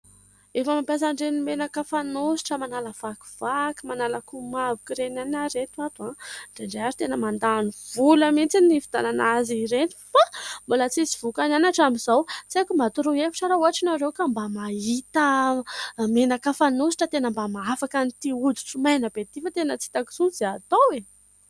Efa mampiasa an'ireny menaka fanositra manala vakivaky, manala komavoka ireny ihany aho ry reto ato a ! Indraindray tena mandàny vola mintsy ny hividianana azy ireny ; fa mbola tsy misy vokany ihany hatramin'izao. Tsy aiko mba hatoroy hevitra aho raha ohatra ianareo ka mba mahita menaka fanositra tena mba mahafaka an'ity oditro maina be ity fa tena tsy hitako intsony izay hatao e !